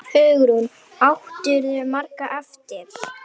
Hugrún: Áttirðu margar eftir?